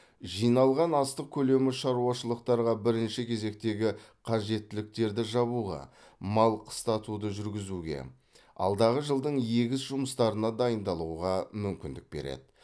жиналған астық көлемі шаруашылықтарға бірінші кезектегі қажеттіліктерді жабуға мал қыстатуды жүргізуге алдағы жылдың егіс жұмыстарына дайындалуға мүмкіндік береді